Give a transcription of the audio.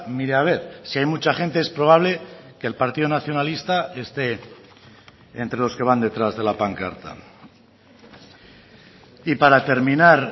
mire a ver si hay mucha gente es probable que el partido nacionalista esté entre los que van detrás de la pancarta y para terminar